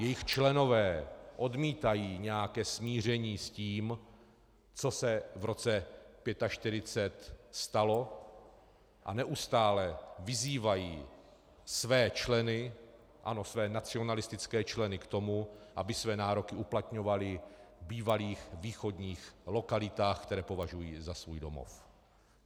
Jejich členové odmítají nějaké smíření s tím, co se v roce 1945 stalo, a neustále vyzývají své členy, ano, své nacionalistické členy, k tomu, aby své nároky uplatňovali v bývalých východních lokalitách, které považují za svůj domov.